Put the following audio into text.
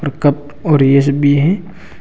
और कप और एस भी है।